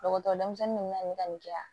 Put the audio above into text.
Dɔgɔtɔrɔ denmisɛnnin ninnu na nin ka nin kɛ yan